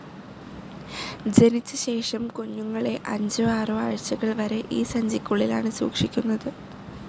ജനിച്ച ശേഷം, കുഞ്ഞുങ്ങളെ അഞ്ചോ ആറോ ആഴ്ച്ചകൾ വരെ ഈ സഞ്ചിക്കുള്ളിലാണ് സൂക്ഷിക്കുന്നത്.